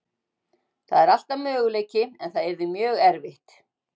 Það er alltaf möguleiki en það yrði mjög erfitt.